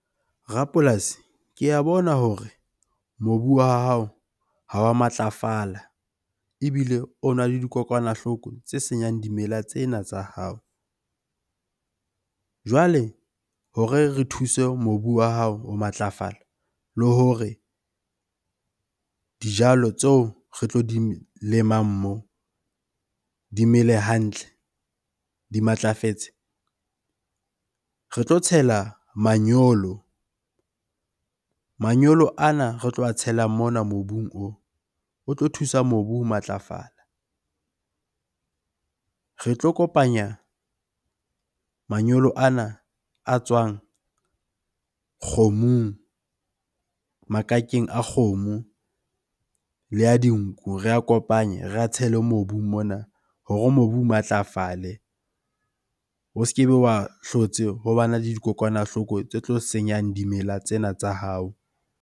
Rapolasi ke a bona hore mobu wa hao ha wa matlafala ebile ona le dikokwanahloko tse senyang dimela tsena tsa hao. Jwale hore re thuse mobu wa hao ho matlafala le hore dijalo tseo re tlo di lemang moo dimele hantle, di matlafetse. Re tlo tshela manyolo. Manyolo ana Re tlo a tshelang mona mobung oo, o tlo thusa mobu ho matlafala. Re tlo kopanya manyolo ana a tswang kgomong, makakeng a kgomo le a di dinku. Re a kopanye, re a tshele mobung mona hore mobu o matlafale, o se kebe wa hlotse ho bana le dikokwanahloko tse tlo senyang dimela tsena tsa hao.